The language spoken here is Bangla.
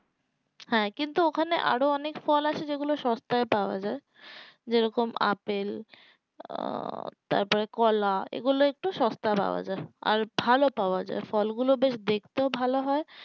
হ্যাঁ কিন্তু ওখানে আরো অনেক ফল আছে যেগুলো সবটাই পাওয়া যাই যে রকম আপেল আহ তারপরে কলা এগুলো একটু সস্তা পাওয়া যাই আর ভালো পাওয়া যাই ফল গুলো বেশ দেখতেও ভালো হয়